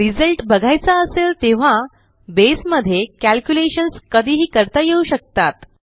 result बघायचा असेल तेव्हा बसे मध्ये कॅल्क्युलेशन्स कधीही करता येऊ शकतात